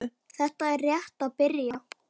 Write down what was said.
Þetta er rétt að byrja.